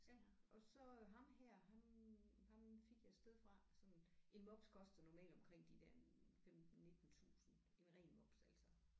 Ja og så ham her han ham fik jeg et sted fra sådan en mops koster normalt omkring de der en 15 19 tusind en ren mops altså